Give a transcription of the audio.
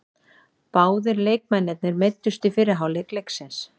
Báðir leikmennirnir meiddust í fyrri hálfleik leiksins.